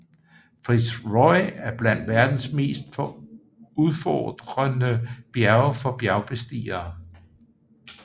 Fitz Roy er blandt verdens mest udfordrende bjerge for bjergbestigere